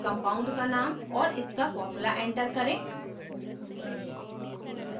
compound का name और इसका formula enter करें